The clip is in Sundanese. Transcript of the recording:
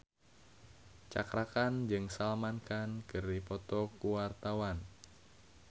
Cakra Khan jeung Salman Khan keur dipoto ku wartawan